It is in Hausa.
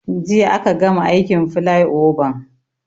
Jiya aka gama aikin filaioban